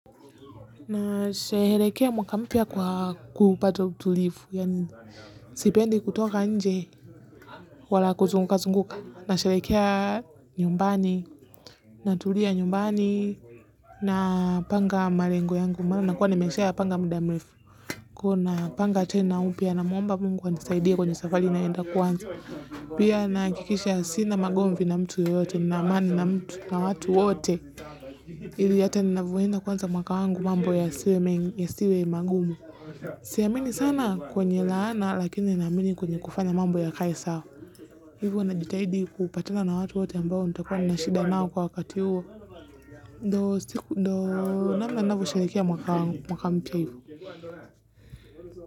Nasherehekea mwaka mpya kwa kupato utulivu, yaani sipendi kutoka nje, wala kuzunguka zunguka, nasherehekea nyumbani, natulia nyumbani, napanga malengo yangu, amabyo nakuwa nimeshayapanga muda mrefu. Kwa hio napanga tena upya namwomba Mungu anisaidie kwenye safari naenda kuanza. Pia nahakikisha sina magomvi na mtu yoyote, nina amani na mtu na watu ote. Hili hata ninavyoenda kuanza mwaka wangu mambo yasiwe magumu siamini sana kwenye laana lakini naamini kwenye kufanya mambo yakae sawa hivo ninajitahidi kupatana na watu wote ambao nitakua na shida nao kwa wakati huo ndio siku ndio namna ninavyoshereheka mwaka wangu mwaka mpya hivi.